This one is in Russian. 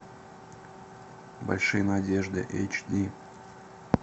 большие надежды эйч ди